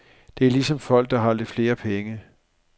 Det er ligesom folk, der har lidt flere penge.